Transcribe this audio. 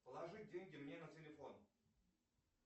положи деньги мне на телефон